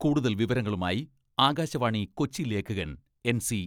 കൂടുതൽ വിവരങ്ങളുമായി ആകാശവാണി കൊച്ചി ലേഖകൻ എൻ.സി.